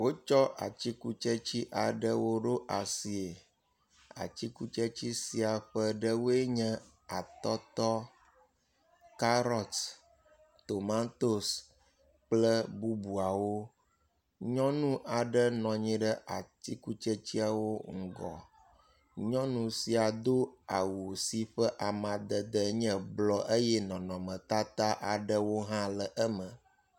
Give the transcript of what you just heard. Wotsɔ atikutsetse aɖewo ɖo asie. Atikutsetse sia ƒe ɖewoe nyɔ; atɔtɔ, karɔt, tomtosi kple bubuawo. Nyɔnu aɖe nɔ anyi ɖe atikutsetseawo ŋgɔ. Nyɔnu sia do awu si ƒe amadede nye blɔ eye nɔnɔmetata aɖewo hã le eme.